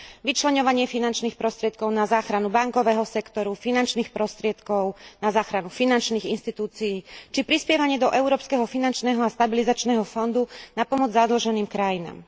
Vyčleňovanie finančných prostriedkov na záchranu bankového sektoru, finančných prostriedkov na záchranu finančných inštitúcií či prispievanie do Európskeho finančného a stabilizačného fondu na pomoc zadlženým krajinám.